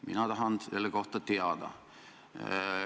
Mina tahan selle kohta teada.